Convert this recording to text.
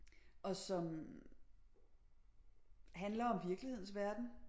Og som handler om virkelighedens verden